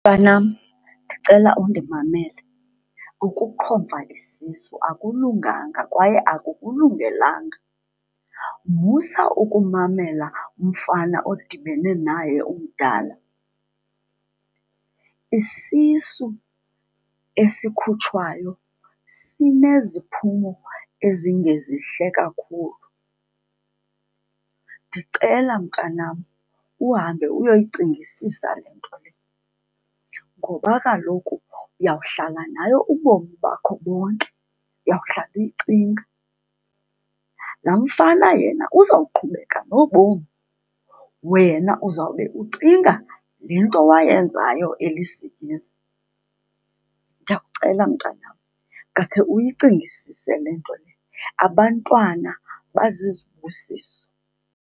Mntanam, ndicela undimamele. Ukuqhomfa isisu akulunganga kwaye akukulungelanga, musa ukumamela umfana odibene naye umdala. Isisu esikhutshwayo sineziphumo ezingezihle kakhulu. Ndicela mntanam, uhambe uyoyicingisisa le nto le ngoba kaloku uyawuhlala nayo ubomi bakho bonke, uyawuhlala uyicinga. Laa mfana yena uzawuqhubeka nobomi, wena uzawube ucinga le nto wayenzayo elisikizi. Ndiyakucela mntanam, ngakhe uyicingisise le nto lena, abantwana bazizibusiso.